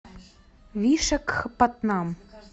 вишакхапатнам